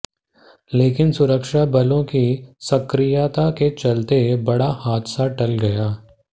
लेकिन सुरक्षाबलों की सक्रियता के चलते बड़ा हादसा टल गया